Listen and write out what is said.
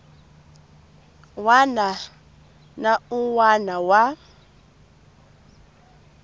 wana na un wana wa